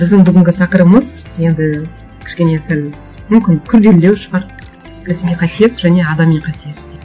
біздің бүгінгі тақырыбымыз енді кішкене сәл мүмкін күрделілеу шығар кәсіби қасиет және адами қасиет